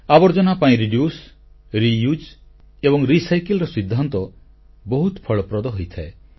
ଆବର୍ଜନା ହ୍ରାସ ଏହାର ପୁନଃଉପଯୋଗ ଏବଂ ପୁନଃବିଶୋଧନ ଭଳି ଆବର୍ଜନା ପରିଚାଳନା ସିଦ୍ଧାନ୍ତ ଏବେ ବହୁତ ଫଳପ୍ରଦ ହେଉଛି